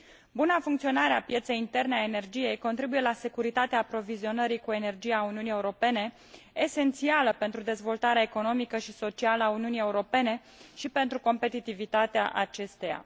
Buna funcționare a pieței interne a energiei contribuie la securitatea aprovizionării cu energie a Uniunii Europene, esențială pentru dezvoltarea economică și socială a Uniunii Europene și pentru competitivitatea acesteia.